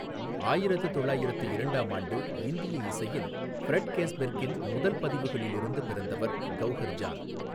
ஆயிரத்து தொள்ளாயிரத்து இரண்டாம் ஆண்டு இந்திய இசையின் ஃப்ரெட் கேஸ்பெர்க்கின் முதல் பதிவுகளில் இருந்து பிறந்தவர் கௌஹர் ஜான்.